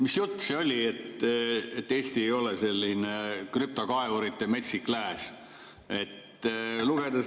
Mis jutt see oli, et Eesti ei ole krüptokaevurite metsik lääs!